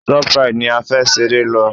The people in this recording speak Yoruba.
Shoprite ni a fẹ́ ṣeré lọ.